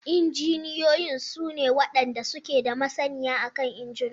Injiniyoyin su ne wadanda suke da masaniya akan injuna.